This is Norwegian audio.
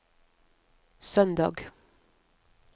søndag